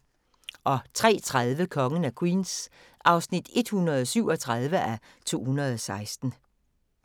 03:30: Kongen af Queens (137:216)